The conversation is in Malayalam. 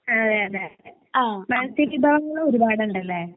അതെയതെ. മൽസ്യ വിഭവങ്ങൾ ഒരുപാട് ഉണ്ടല്ലേ